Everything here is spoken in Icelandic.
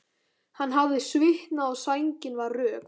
Hann hafði svitnað og sængin var rök.